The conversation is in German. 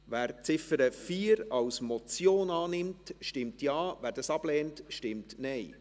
Wer die Ziffer 4 als Motion annimmt, stimmt Ja, wer dies ablehnt, stimmt Nein.